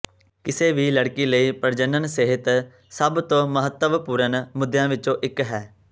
ਕਿਸੇ ਵੀ ਲੜਕੀ ਲਈ ਪ੍ਰਜਨਨ ਸਿਹਤ ਸਭ ਤੋਂ ਮਹੱਤਵਪੂਰਨ ਮੁੱਦਿਆਂ ਵਿੱਚੋਂ ਇੱਕ ਹੈ